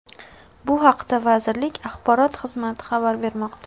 Bu haqda vazirlik Axborot xizmati xabar bermoqda .